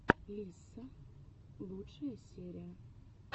лисса лучшая серия